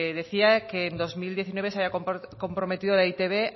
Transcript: decía que en dos mil diecinueve se había comprometido eitb